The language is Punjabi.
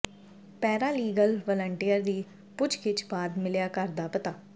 ਪੈਰਾ ਲੀਗਲ ਵਲੰਟੀਅਰ ਦੀ ਪੁੱਛਗਿੱਛ ਬਾਅਦ ਮਿਲਿਆ ਘਰ ਦਾ ਪਤਾ